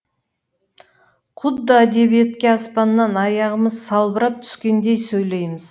құдды әдебиетке аспаннан аяғымыз салбырап түскендей сөйлейміз